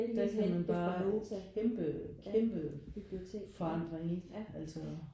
Der kan man bare kæmpe kæmpe forandring ikke altså